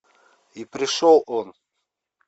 и пришел он